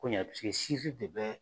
Ko ɲɛ paseke de bɛ